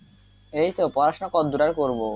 এই তো পড়াশোনা কত দূর আর করবো,